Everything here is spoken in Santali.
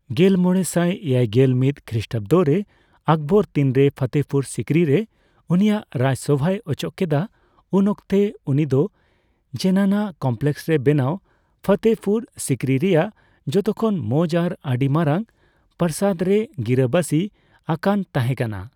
ᱜᱮᱞᱢᱚᱲᱮᱥᱟᱭ ᱮᱭᱟᱭᱜᱮᱞ ᱢᱤᱛ ᱠᱷᱨᱤᱥᱴᱟᱵᱫ ᱨᱮ ᱟᱠᱵᱚᱨ ᱛᱤᱱᱨᱮ ᱯᱷᱚᱛᱮ ᱯᱩᱨ ᱥᱤᱠᱨᱤ ᱨᱮ ᱩᱱᱤᱭᱟᱜ ᱨᱟᱡᱥᱚᱶᱟᱭ ᱚᱪᱚᱜ ᱠᱮᱫᱟ, ᱩᱱᱚᱠᱛᱮ ᱩᱱᱤ ᱫᱚ ᱡᱮᱱᱟᱱᱟ ᱠᱚᱢᱯᱞᱮᱠᱥ ᱨᱮ ᱵᱮᱱᱟᱣ ᱯᱷᱚᱛᱮ ᱯᱩᱨ ᱥᱤᱠᱨᱤ ᱨᱮᱭᱟᱜ ᱡᱚᱛᱚ ᱠᱷᱚᱱ ᱢᱚᱡ ᱟᱨ ᱟᱹᱫᱤ ᱢᱟᱨᱟᱝ ᱯᱨᱟᱥᱟᱫ ᱨᱮᱭ ᱜᱤᱨᱟᱹᱵᱟᱥᱤᱺ ᱟᱠᱟᱱ ᱛᱟᱦᱮᱠᱟᱱᱟ ᱾